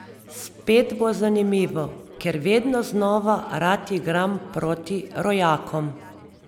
Spet bo zanimivo, ker vedno znova rad igram proti rojakom.